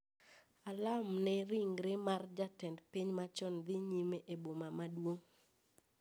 Alam ne ringre mar jatend piny machon dhi nyime e boma maduong'